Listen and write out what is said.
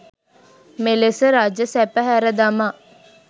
මෙලෙස රජසැප හැර දමා